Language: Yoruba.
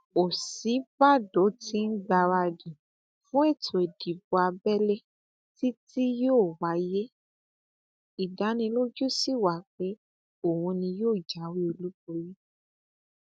òsínbàbò tí ń gbáradì fún ètò ìdìbò abẹlé tí tí yóò wáyé ìdánilójú sí wa pé òun ni yóò jáwé olúborí